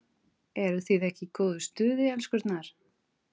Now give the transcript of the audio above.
ERUÐ ÞIÐ EKKI Í GÓÐU STUÐI, ELSKURNAR!